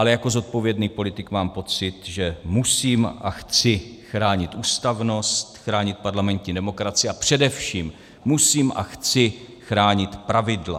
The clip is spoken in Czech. Ale jako zodpovědný politik mám pocit, že musím a chci chránit ústavnost, chránit parlamentní demokracii a především musím a chci chránit pravidla.